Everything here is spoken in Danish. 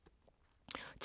TV 2